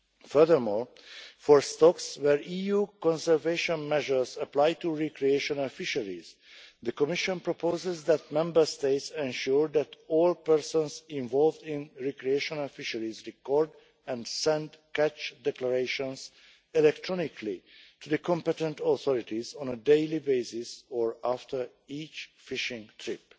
Furthermore, for stocks where EU conservation measures apply to recreational fisheries, the Commission proposes that Member States ensure that all persons involved in recreational fisheries record and send catch declarations electronically to the competent authorities on a daily basis or after each fishing trip.